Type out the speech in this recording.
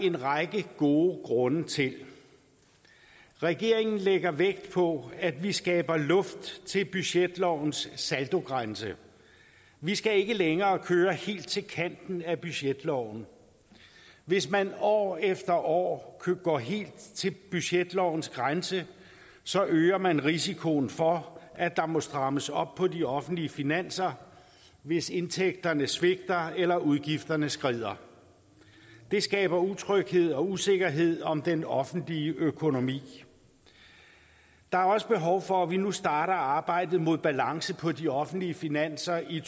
en række gode grunde til regeringen lægger vægt på at vi skaber luft til budgetlovens saldogrænse vi skal ikke længere køre helt til kanten af budgetloven hvis man år efter år går helt til budgetlovens grænse så øger man risikoen for at der må strammes op på de offentlige finanser hvis indtægterne svigter eller udgifterne skrider det skaber utryghed og usikkerhed om den offentlige økonomi der er også behov for at vi nu starter arbejdet mod balance på de offentlige finanser i